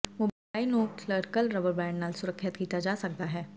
mobile ਨੂੰ ਕਲਰਕਲ rubber band ਨਾਲ ਸੁਰੱਖਿਅਤ ਕੀਤਾ ਜਾ ਸਕਦਾ ਹੈ